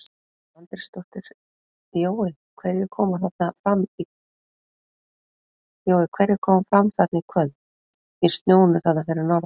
Edda Andrésdóttir: Jói hverjir koma fram þarna í kvöld í snjónum þarna fyrir norðan?